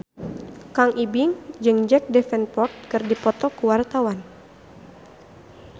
Kang Ibing jeung Jack Davenport keur dipoto ku wartawan